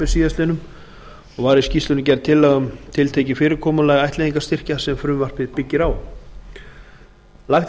síðastliðinn og var í skýrslunni gerð tillaga um tiltekið fyrirkomulag ættleiðingarstyrkja sem frumvarpið byggir á lagt er